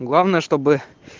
главное чтобы